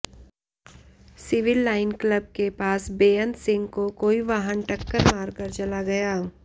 civil line club के पास बेअंत सिंह को कोई वाहन टक्कर मार कर चला गया